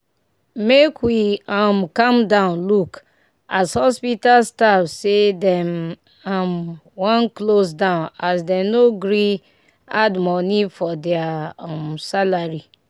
make we um calm down look as hospital staff say dem um wan close down as dem no gree add money for deir um salary